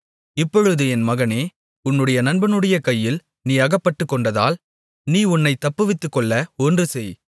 இப்பொழுது என் மகனே உன்னுடைய நண்பனுடைய கையில் நீ அகப்பட்டுக்கொண்டதால் நீ உன்னைத் தப்புவித்துக்கொள்ள ஒன்று செய்